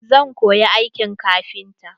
Zan koyi aikin kafinta.